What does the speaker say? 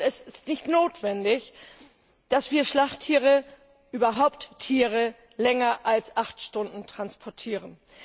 Und es ist nicht notwendig, dass wir Schlachttiere überhaupt Tiere länger als acht Stunden transportieren.